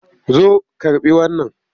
Zo karɓi wannan!